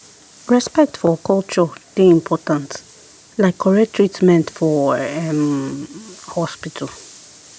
respect for culture dey important like correct treatment for um hospital.